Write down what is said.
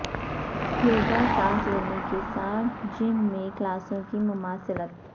یوگا سانس لینے کے ساتھ جم میں کلاسوں کی مماثلت